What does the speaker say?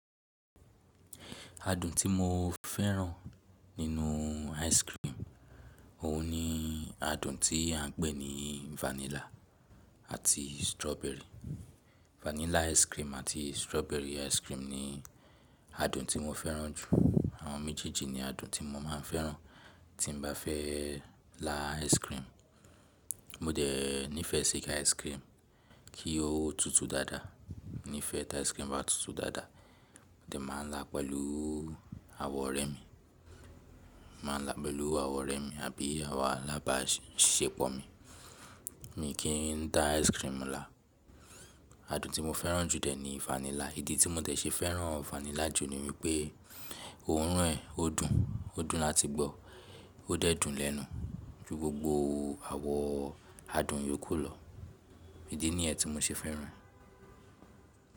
Adùn tí mo fẹ́ràn nínú ice cream, òun ni adùn tí à ń pè ní vanilla àti strawberry. Vanilla ice cream àti strawberry ice cream ni adùn tí mo fẹ́ràn jù. Awon méjèèjì ni adùn tí mo máa ń fẹ́ràn. Tí n bá fẹ́ lá ice cream, mo dẹ̀ nífẹ̀ẹ́ sí ki ice cream kí ó tutù dáadáa. Mífẹ̀ẹ́ ti ice cream bá tutù dáadáa, mo dẹ̀ máa n lá pẹ̀lú àwọn ọ̀rẹ́ mi. Má a lá pẹ̀lú àwọn ọ̀rẹ́ mi àbí àwọn alábàáṣepọ̀ mi. Mi kì í dá ice cream lá. Adùn tí mo fẹ́ràn jù dẹ̀ ni vanilla. Ìdí tí mo dẹ̀ ṣe fẹ́ràn vanilla jù ni wípé òórùn ẹ̀ ó dùn, ó dùn láti gbọ́, ó dẹ̀ dùn lẹ́nu jù gbogbo àwọ adùn yòókù lọ. Idí niyẹ́n tí mo ṣe fẹ́ràn e.